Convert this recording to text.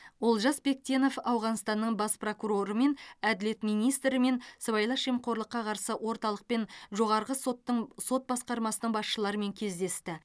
олжас бектенов ауғанстанның бас прокурорымен әділет министрімен сыбайлас жемқорлыққа қарсы орталық пен жоғарғы соттың сот басқармасының басшыларымен кездесті